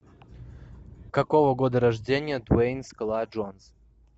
какого года рождения дуэйн скала джонсон